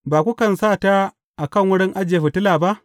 Ba kukan sa ta a kan wurin ajiye fitila ba?